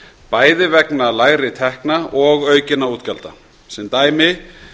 bæði vegna lægri tekna og aukinna útgjalda sem dæmi